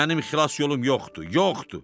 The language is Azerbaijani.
Mənim xilas yolum yoxdur, yoxdur.